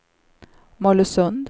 Mollösund